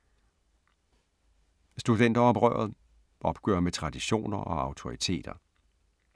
Studenteroprøret - opgør med traditioner og autoriteter